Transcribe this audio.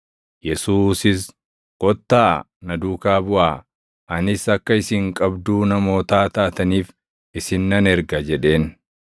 Yesuusis, “Kottaa, na duukaa buʼaa; anis akka isin qabduu namootaa taataniif isin nan erga” jedheen.